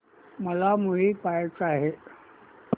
मला मूवी पहायचा आहे